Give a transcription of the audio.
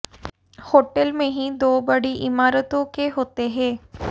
hotel में ही दो बड़ी इमारतों के होते हैं